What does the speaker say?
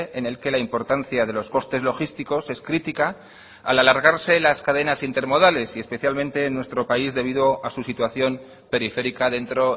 en el que la importancia de los costes logísticos es crítica al alargarse las cadenas intermodales y especialmente en nuestro país debido a su situación periférica dentro